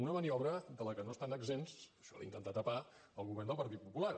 una maniobra de la que no estan exempts això d’intentar tapar el govern del partit popular